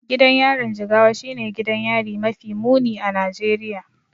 Gidan yarin Jigawa shine gidan yari mafi muni a Najeriya.